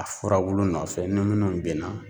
A furabulu nɔfɛ ni munnu ben na